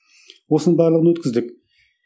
осының барлығын өткіздік